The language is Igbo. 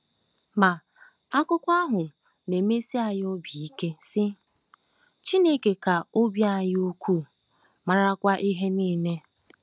Ma, akụkọ ahụ na-emesi anyị obi ike, sị: “Chineke ka obi anyị ukwuu, marakwa ihe niile .”